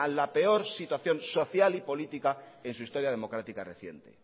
la peor situación social y político en su historia democrática reciente